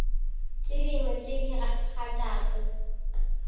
tše dingwe tše di kgathago